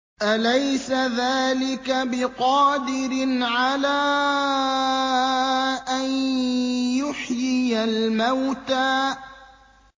أَلَيْسَ ذَٰلِكَ بِقَادِرٍ عَلَىٰ أَن يُحْيِيَ الْمَوْتَىٰ